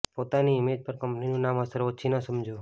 પોતાની ઇમેજ પર કંપનીનું નામ અસર ઓછી ન સમજો